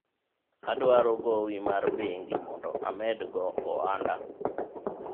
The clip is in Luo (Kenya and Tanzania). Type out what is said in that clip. adwaro gowi mar bengi mondo amed go ohanda